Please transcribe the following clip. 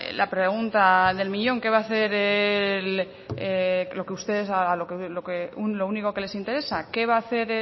la pregunta del millón qué va a hacer lo único que les interesa qué